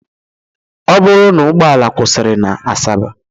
Ọ bụrụ na ụgbọala kwụsịrị na Asaba